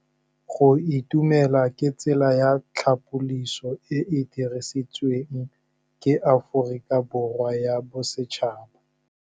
Go itumela ke tsela ya tlhapolisô e e dirisitsweng ke Aforika Borwa ya Bosetšhaba.